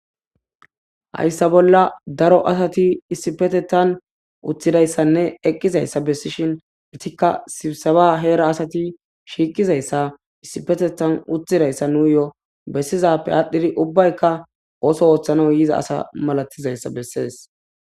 Hayssa bolla daro asati issipetetan utthidayssanne eqqizayssa bessishin itikka sibisaba heera asati shiiqizayssa issipetetan utthidayssa nuuyo bessizappe aadhdhidi ubbaykka ooso ooththana yiza asa malatizayssa bessees.